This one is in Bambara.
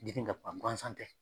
gansan tɛ